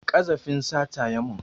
Ƙazafin sata ya mun